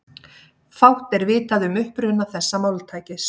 Fátt er vitað um uppruna þessa máltækis.